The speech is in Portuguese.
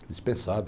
Fui dispensado.